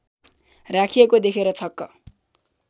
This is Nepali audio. राखिएको देखेर छक्क